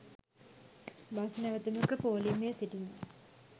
bus නැවතුමක පෝලිමේ සිටින